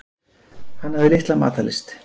Hann hafði litla matarlyst.